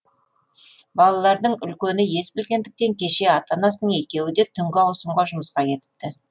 балаларының үлкені ес білгендіктен кеше ата анасының екеуі де түнгі ауысымға жұмысқа кетіпті